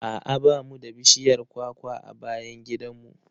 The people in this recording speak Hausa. A'a ba mu da bishiyar kwakwa a bayan gidan mu.